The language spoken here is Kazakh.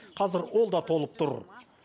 қазір ол да толып тұр